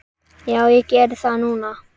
Já, ég geri það núna.